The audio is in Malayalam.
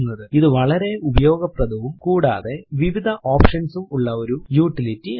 ഇത് വളരെ ഉപയോഗപ്രദവും കൂടാതെ വിവിധ ഓപ്ഷൻസ് ഉം ഉള്ള ഒരു യൂട്ടിലിറ്റി ആണ്